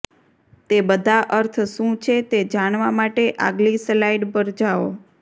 તે બધા અર્થ શું છે તે જાણવા માટે આગલી સ્લાઇડ પર જાઓ